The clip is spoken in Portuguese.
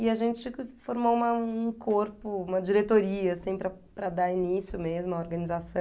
E a gente formou uma um corpo, uma diretoria, assim, para para dar início mesmo à organização.